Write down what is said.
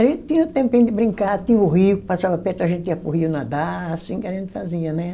A gente tinha o tempinho de brincar, tinha o rio que passava perto, a gente ia para o rio nadar, assim que a gente fazia, né?